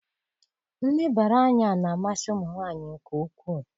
Nlebara anya na-amasị ụmụ nwanyị nke ukwuu